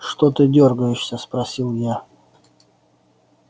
что ты дёргаешься спросил я